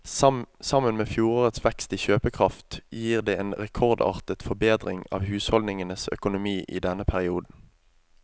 Sammen med fjorårets vekst i kjøpekraft gir det en rekordartet forbedring av husholdningenes økonomi i denne perioden.